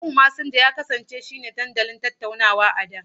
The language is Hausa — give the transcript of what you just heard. Yahoo Mesenja ya kasance shine kawai dandalin tattaunawa a da.